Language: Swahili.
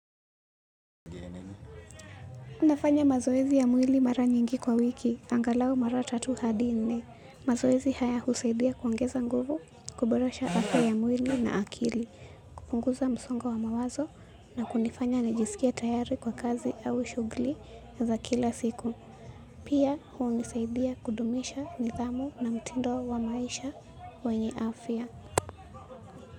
Nafanya mazoezi ya mwili mara nyingi kwa wiki, angalau mara tatu hadi nne. Mazoezi haya husaidia kuongeza nguvu, kuborasha afya ya mwili na akili, kupunguza msongo wa mawazo na kunifanya najisikie tayari kwa kazi au shughuli za kila siku. Pia hunisaidia kudumisha nidhamu na mtindo wa maisha wenye afya.